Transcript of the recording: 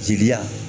Jeli la